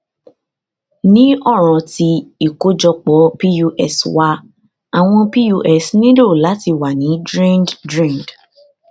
ni ọran ti ikojọpọ pus wa awọn pus nilo lati wa ni drained drained